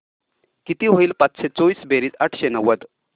किती होईल पाचशे चोवीस बेरीज आठशे नव्वद